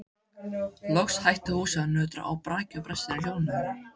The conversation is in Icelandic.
Loks hætti húsið að nötra og brakið og brestirnir hljóðnuðu.